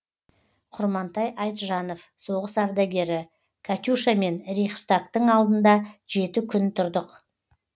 құрмантай айтжанов соғыс ардагері катюшамен рейхстагтың алдында жеті күн тұрдық